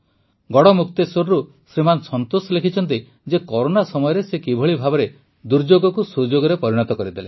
ଗଡ଼଼ମୁକ୍ତେଶ୍ୱରରୁ ଶ୍ରୀମାନ ସନ୍ତୋଷ ଲେଖିଛନ୍ତି ଯେ କରୋନା ସମୟରେ ସେ କିଭଳି ଭାବେ ଦୁର୍ଯୋଗକୁ ସୁଯୋଗରେ ପରିଣତ କରିଦେଲେ